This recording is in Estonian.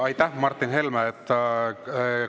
Aitäh, Martin Helme!